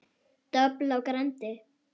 Dobl á grandi.